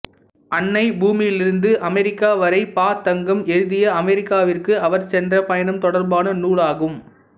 அன்னை பூமியிலிருந்து அமெரிக்கா வரை ப தங்கம் எழுதிய அமெரிக்காவிற்கு அவர் சென்ற பயணம் தொடர்பான நூலாகும்